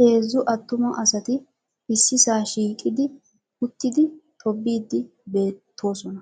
Heezzu attuma asati ississaa shiiqqi uttidi tobbiidi beettoosona.